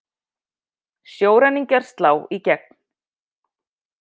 Sjóræningjar slá í gegn